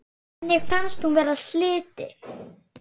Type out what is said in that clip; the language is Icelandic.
Henni finnst hún vera slytti.